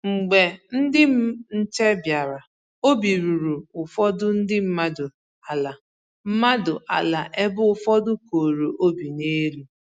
Mgbe ndị nche bịara, obi ruru ụfọdụ ndị mmadụ ala mmadụ ala ebe ụfọdụ koro obi n'elu